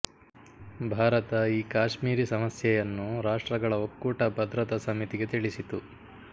ಭಾರತ ಈ ಕಾಶ್ಮೀರಿ ಸಮಸ್ಯೆಯನ್ನು ರಾಷ್ಟ್ರಗಳ ಒಕ್ಕೂಟ ಬದ್ರತ ಸಮಿತಿಗೆ ತಿಳಿಸಿತು